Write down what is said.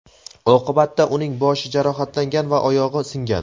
Oqibatda uning boshi jarohatlangan va oyog‘i singan.